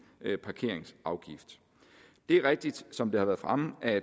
parkeringsafgift det er rigtigt som det har været fremme at